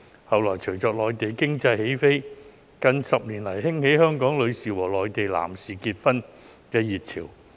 其後，隨着內地經濟起飛，在近10年來，更興起香港女士和內地男士結婚的熱潮。